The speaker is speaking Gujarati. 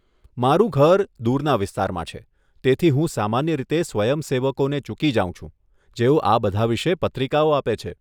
મારું ઘર દૂરના વિસ્તારમાં છે, તેથી હું સામાન્ય રીતે સ્વયંસેવકોને ચૂકી જાઉં છું જેઓ આ બધા વિશે પત્રિકાઓ આપે છે.